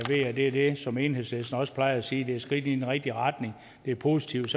det er det som enhedslisten også plejer at sige det et skridt i den rigtige retning det er positivt